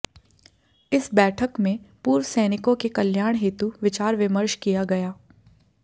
इस बैठक में पूर्व सैनिकों के कल्याण हेतु विचार विमर्श किया गया